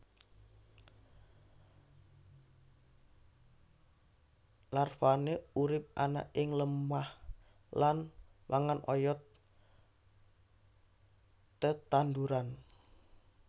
Larvane urip ana ing lemah lan mangan oyot tetanduran